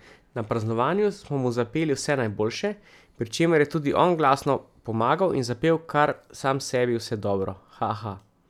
Na praznovanju smo mu zapeli Vse najboljše, pri čemer je tudi on glasno pomagal in zapel kar sam sebi vse dobro, haha.